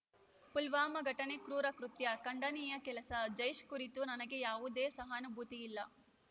ಪುಲ್ವಾಮಾ ಘಟನೆ ಕ್ರೂರ ಕೃತ್ಯ ಖಂಡನೀಯ ಕೆಲಸ ಜೈಷ್‌ ಕುರಿತು ನನಗೆ ಯಾವುದೇ ಸಹಾನುಭೂತಿ ಇಲ್ಲ